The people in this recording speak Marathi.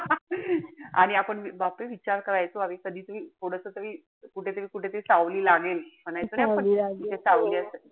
आणि आपण बापरे विचार करायचो अरे कधीतरी थोडस तरी कुठेतरी कुठेतरी सावली लागेल. म्हणायचो नाई आपण. इथे सावली,